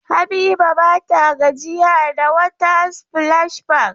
Habiba ba ta gajiya da water splash park.